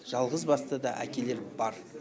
жалғызбасты да әкелер бар